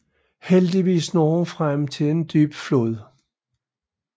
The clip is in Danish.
Heldigvis når hun frem til en dyb flod